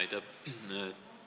Aitäh!